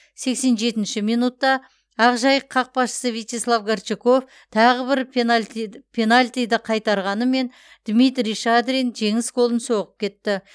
сексен жетінші минутта ақжайық қақпашысы вячеслав горчаков тағы бір пенальтиді қайтарғанымен дмитрий шадрин жеңіс голын соғып кетті